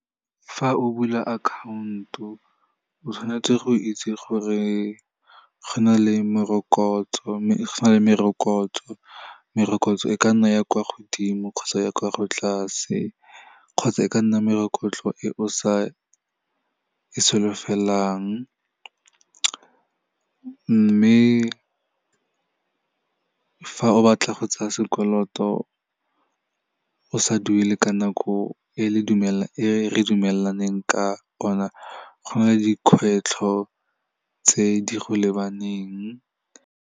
Fa o bula account-o, o tshwanetse go itse gore go na le merokotso, merokotso e ka nna ya kwa godimo kgotsa ya kwa go tlase kgotsa e ka nna e o sa e solofelang. Mme fa o batla go tsaya sekoloto, o sa duele ka nako e re dumelaneng ka ona, go na le dikgwetlho tse di go lebaneng.